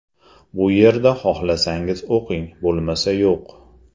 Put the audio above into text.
Bu yerda xohlasangiz o‘qing, bo‘lmasa yo‘q.